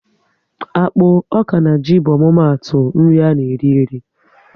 Akpụ, ọka na ji bụ omumatu nri ana eri eri